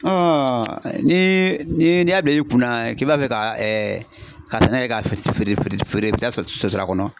ni n'i y'a don i kunna k'i b'a fɛ ka ka sɛnɛ kɛ k'a feere i bɛ taa sotara kɔnɔ.